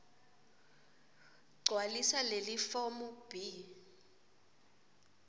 gcwalisa lelifomu b